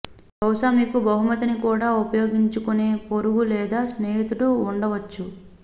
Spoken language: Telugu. బహుశా మీకు బహుమతిని కూడా ఉపయోగించుకునే పొరుగు లేదా స్నేహితుడు ఉండవచ్చు